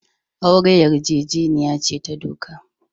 Aure yarjejeniya ce ta doka.